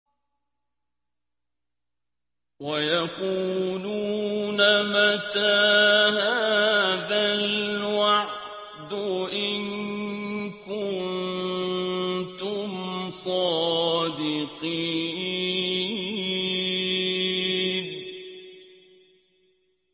وَيَقُولُونَ مَتَىٰ هَٰذَا الْوَعْدُ إِن كُنتُمْ صَادِقِينَ